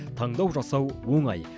таңдау жасау оңай